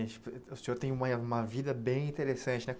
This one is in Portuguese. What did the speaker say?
O senhor tem uma uma vida bem interessante, né?